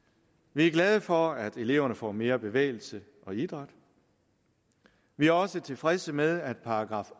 vi er glade for at eleverne får mere bevægelse og idræt vi er også tilfredse med at §